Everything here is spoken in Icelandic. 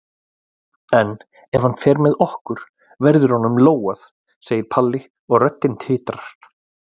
En ef hann fer með okkur verður honum lógað, segir Palli og röddin titrar.